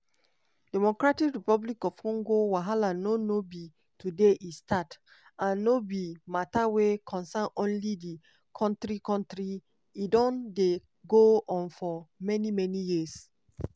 dr congo wahala no no be today e start and no be mata wey concern only di kontri kontri e don dey go on for many many years.